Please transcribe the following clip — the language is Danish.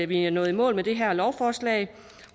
vi er nået i mål med det her lovforslag